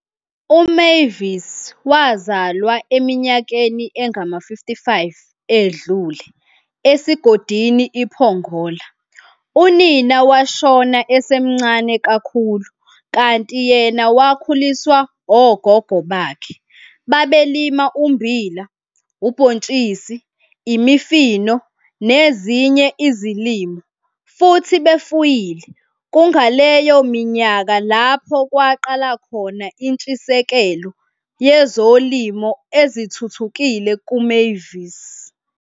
UMavis wazalwa eminyakeni engama-55 edlule esigodini iPongola. Unina washona esemncane kakhulu kanti yena wakhuliswa ogogo bakhe. Babelima ummbila, ubhontshisi, imifino nezinye izilimo futhi befuyile kungaleyo minyaka lapho kwaqala khona intshisekelo yezolimo ezithuthukile kuMavis.